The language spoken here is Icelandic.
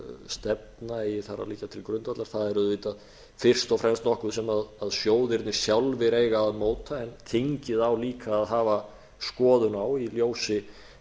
hvaða fjárfestingarstefna eigi þar að liggja til grundvallar það er auðvitað fyrst fremst nokkuð sem sjóðirnir sjálfir eiga að móta en þingið á líka að hafa skoðun á í ljósi